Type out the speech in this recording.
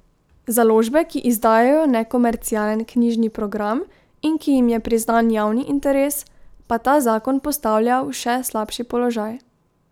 Založbe, ki izdajajo nekomercialen knjižni program in ki jim je priznan javni interes, pa ta zakon postavlja v še slabši položaj.